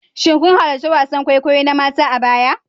Shin kun halarci wasan kwaikwayo na mata a baya?